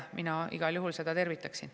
Mina igal juhul seda tervitaksin.